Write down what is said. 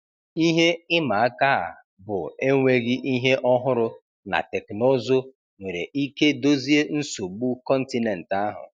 Ihe ịma aka a bụ enweghị ihe ọhụrụ na teknụzụ nwere ike dozie nsogbu kọntinent ahụ.